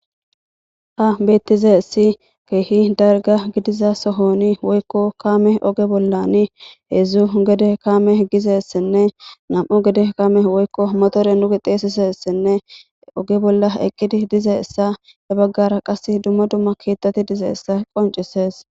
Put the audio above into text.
Ha beettize essi keehi darga gidiza sohoni woykko kaame oge bollan heedzdzu gede kaame gize ssenne nam7u gede kame woykko motore nu gixeesise ssenne oge bolla eqqidi dize issa e baggara qas dumma dumma keettati dize issa qoncises